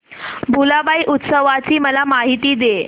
भुलाबाई उत्सवाची मला माहिती दे